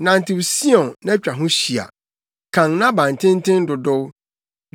Nantew Sion na twa ho hyia, kan nʼabantenten dodow,